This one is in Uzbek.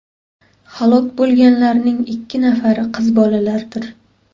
Halok bo‘lganlarning ikki nafari qiz bolalardir.